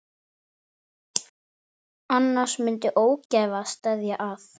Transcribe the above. Annars myndi ógæfa steðja að.